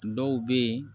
Dɔw bɛ yen